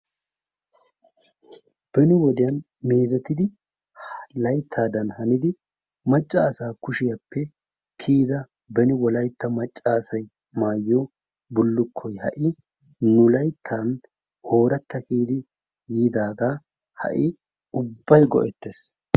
beni wodiyan meezetidi laytaadan hanidi macaasa kushiyappe kiyida beni wolaytta macaasay maayiyo bulukkoy ha wodiyani yiidaaga ubay go'eees,